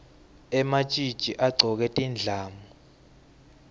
ematjitji agcoke tindlamu